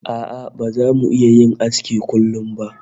A'a baza mu iya yin aski a kullum ba